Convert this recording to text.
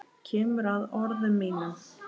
Kemur að orðum mínum.